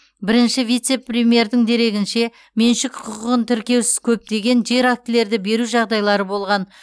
бірінші вице премьердің дерегінше меншік құқығын тіркеусіз көптеген жер актілерді беру жағдайлары болған